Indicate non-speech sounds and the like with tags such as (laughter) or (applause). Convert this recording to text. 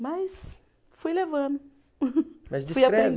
Mas fui levando. (laughs) Mas descreve (unintelligible)